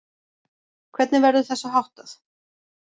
Hvernig verður þessu háttað?